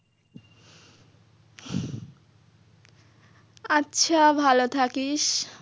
আচ্ছা ভালো থাকিস।